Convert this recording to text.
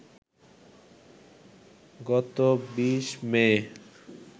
গত ২০ মে